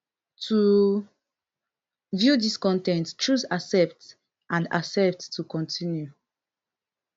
to view dis con ten t choose accept and accept to continue